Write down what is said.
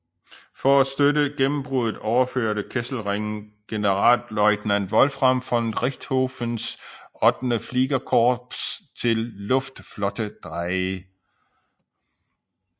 For at støtte gennembruddet overførte Kesselring Generalleutnant Wolfram von Richthofens VIII Fliegerkorps til Luftflotte 3